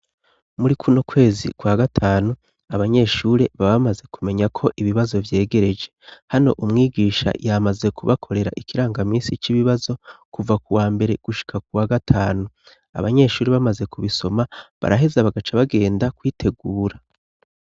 Muri kuno kwezi kwa gatanu, abanyeshure baba bamaze kumenya ko ibibazo vyegereje. Hano umwigisha yamaze kubakorera ikirangamisi c'ibibazo, kuva kuwa mbere gushika kuwa gatanu. Abanyeshure bamaze kubisoma, baraheza bagaca bagenda kwitegura.